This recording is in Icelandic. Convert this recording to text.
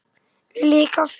Viljiði kaffi?